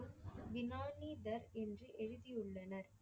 வினானிதர் என்று எழுதியுள்ளனர்.